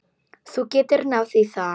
Þú getur náð í það.